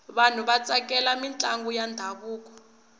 vanhu va tsakela mintlangu ya ndhavuko